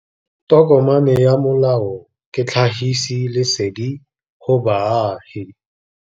Tokomane ya molao ke tlhagisi lesedi go baagi.